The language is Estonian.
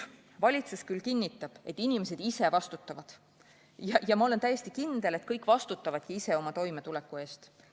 Valitsus kinnitab, et inimesed ise vastutavad, ja ma olen täiesti kindel, et kõik vastutavadki ise oma toimetuleku eest.